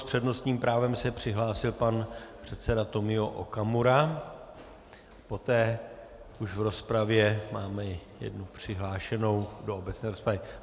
S přednostním právem se přihlásil pan předseda Tomio Okamura, poté už v rozpravě máme jednu přihlášenou do obecné rozpravy.